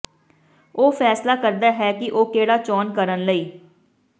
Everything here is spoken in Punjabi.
ਉਹ ਫੈਸਲਾ ਕਰਦਾ ਹੈ ਕਿ ਉਹ ਕਿਹੜਾ ਚੋਣ ਕਰਨ ਲਈ